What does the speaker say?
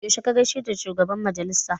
Yaushe ka gaishe da shugaban majalisa?